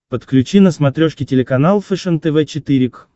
подключи на смотрешке телеканал фэшен тв четыре к